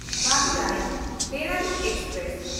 Madurai Dehradun express